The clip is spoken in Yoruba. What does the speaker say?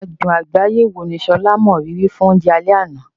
Adùn àgbáyé wo ni Sola mọ rírì fún oúnjẹ alẹ́ àná?